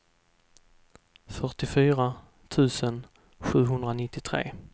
fyrtiofyra tusen sjuhundranittiotre